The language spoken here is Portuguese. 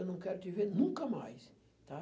Eu não quero te ver nunca mais, tá.